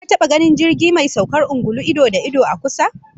Ka taba ganin jirgi mai saukar ungulu ido da ido, a kusa?